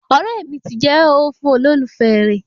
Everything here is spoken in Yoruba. ọ̀rẹ́ mi ti jẹ́ ooo fún olólùfẹ́ rẹ